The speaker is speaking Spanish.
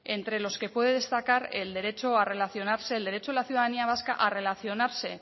entre los que puede destacar el derecho a relacionarse el derecho de la ciudadanía vasca a relacionarse